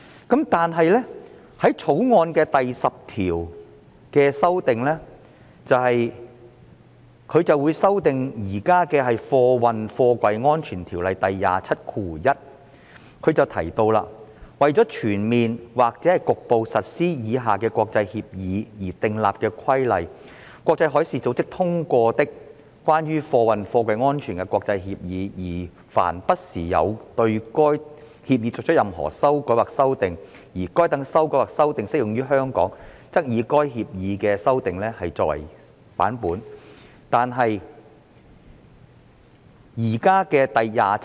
《條例草案》第10條是修訂現時《運貨貨櫃條例》的第271條，訂明："為全面或局部實施以下國際協議而訂立規例︰國際海事組織通過的、關於運貨貨櫃安全的國際協議，而凡不時有對該協議作出任何修改或修訂，而該等修改或修訂適用於香港，則以該協議經該等修改或修訂的版本為準。